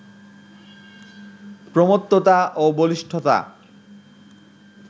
প্রমত্ততা ও বলিষ্ঠতা